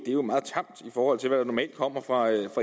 er jo meget tamt i forhold til hvad der normalt kommer fra